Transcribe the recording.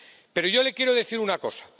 Pero yo le quiero decir una cosa.